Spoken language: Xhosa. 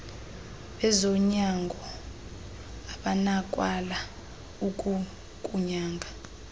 bezonyango abanakwala ukukunyanga